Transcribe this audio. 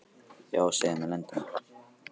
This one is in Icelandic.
Já, segðu mér leyndarmál.